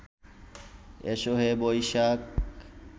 এসো হে বৈশাখ